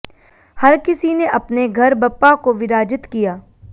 हर किसी ने अपने घर बप्पा को विराजित किया